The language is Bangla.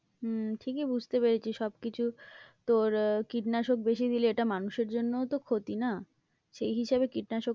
হম ঠিকই বুঝতে পেরেছি, সবকিছু তোর কীটনাশক বেশি দিলেও এটা মানুষের জন্যও তো ক্ষতি না? সেই হিসাবে কীটনাশকটা